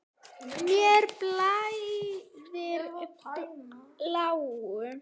Mér blæðir bláu.